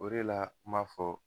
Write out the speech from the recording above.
O de la kuma fɔ